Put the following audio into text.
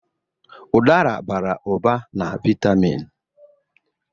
Udara bara ụba na vitamịn.